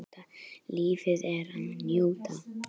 Lífið er til að njóta.